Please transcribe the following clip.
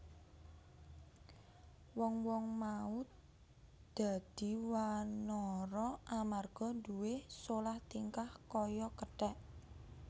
Wong wong mau dadi wanara amarga nduwé solah tingkah kaya kethek